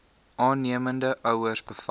aannemende ouers bevat